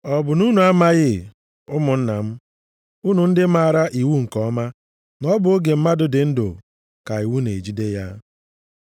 Ọ bụ na unu amaghị ụmụnna m, unu ndị maara iwu nke ọma na ọ bụ oge mmadụ dị ndụ ka iwu na-ejide ya?